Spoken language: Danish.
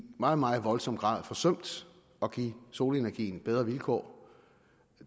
meget meget voldsom grad forsømt at give solenergien bedre vilkår